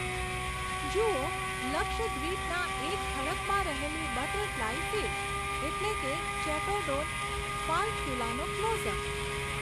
જુઓ લક્ષદ્વીપના એક ખડકમાં રહેલી બટરફ્લાય ફિશ, એટલે કે ચેટોડોન ફાલ્ક્યુલાનો ક્લોઝઅપ.